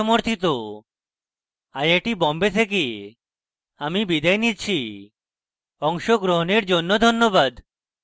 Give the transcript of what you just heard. I I T Bombay থেকে আমি বিদায় নিচ্ছি অংশগ্রহণের জন্য ধন্যবাদ